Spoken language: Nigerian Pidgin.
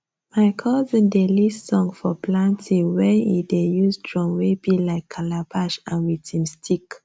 my cousin dey lead song for planting wen e dey use drum wey be like calabash and with him stick